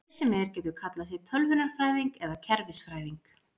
Hver sem er getur kallað sig tölvunarfræðing eða kerfisfræðing.